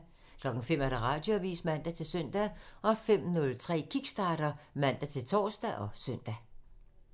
05:00: Radioavisen (man-søn) 05:03: Kickstarter (man-tor og søn)